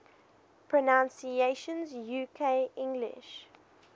pronunciations uk english